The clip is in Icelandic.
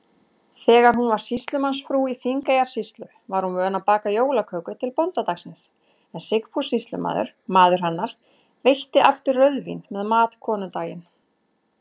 Þegar hún var sýslumannsfrú í Þingeyjarsýslu, var hún vön að baka jólaköku til bóndadagsins, en Sigfús sýslumaður, maður hennar, veitti aftur rauðvín með mat konudaginn.